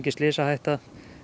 slysahætta